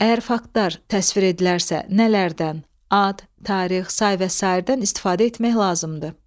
Əgər faktlar təsvir edilərsə nələrdən ad, tarix, say və sairədən istifadə etmək lazımdır?